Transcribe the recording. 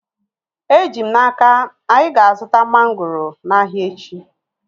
Eji m n'aka, anyị ga-azuta mangoro n'ahia echi